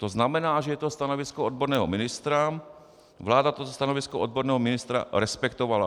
To znamená, že je to stanovisko odborného ministra, vláda toto stanovisko odborného ministra respektovala.